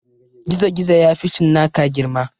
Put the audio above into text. Gizogizo ya fi cinnaka girma